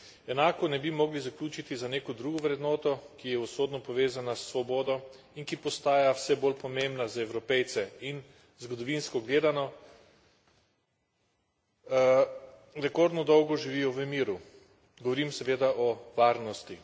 Enako ne bi mogli zaključiti za neko drugo vrednoto, ki je usodno povezana s svobodo in ki postaja vse bolj pomembna za Evropejce, in, zgodovinsko gledano, rekordno dolgo živijo v miru, govorim seveda o varnosti.